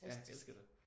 Ja. Elsker det